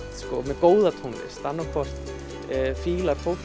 með góða tónlist annaðhvort fílar fólk